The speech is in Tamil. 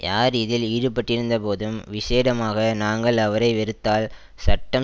யார் இதில் ஈடுபட்டிருந்தபோதும் விஷேடமாக நாங்கள் அவரை வெறுத்தால் சட்டம்